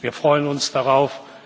Wir freuen uns darauf.